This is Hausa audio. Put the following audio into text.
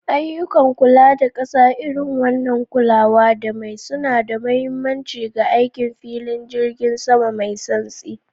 Ayyukan kula da ƙasa, irin wannan kulawa da mai, suna da mahimmanci ga aikin filin jirgin sama mai santsi.